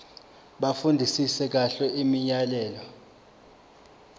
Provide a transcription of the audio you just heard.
bafundisise kahle imiyalelo